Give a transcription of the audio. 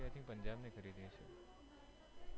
પંજાબ એ ખરીદી હસે.